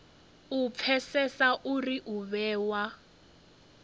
u pfesesa uri u vhewa